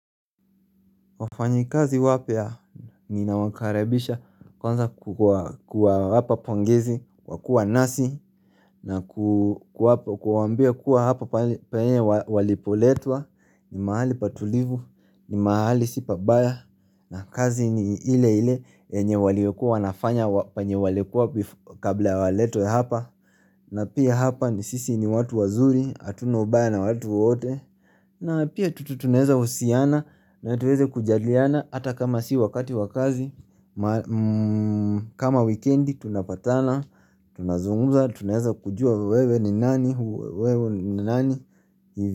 Wafanyikazi wapya ninawakaribisha kwanza kuwapapongezi, kwakua nasi, na kuwambia kuwa hapa paine walipoletwa, ni mahali patulivu, ni mahali sipa baya, na kazi ni ile ile enye walikua wanafanya panye walikua kabla waletwe hapa, na pia hapa ni sisi ni watu wazuri, hatuna baya na watu wote, na pia tututuneza usiana na tuweze kujadiliana hata kama si wakati wakazi kama weekendi tunapatana, tunazunguza, tunaeza kujua wewe ni nani,